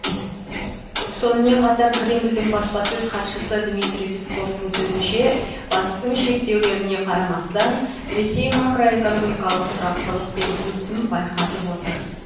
сонымен қатар кремльдің баспасөз хатшысы дмитрий песковтың сөзінше батыстың шектеулеріне қарамастан ресей макроэкономикалық тұрақтылық пен өсім байқатып отыр